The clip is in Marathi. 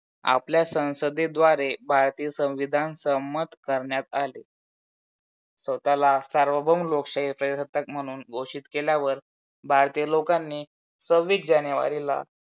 आपल्या संसदेद्वारे भारतीय संविधान संमत करण्यात आली. स्वतःला सार्वभौम लोकशाही प्रजसत्ताक म्हणून घोषीत केल्यावर भारतीय लोकांनी सव्वीस जानेवारीला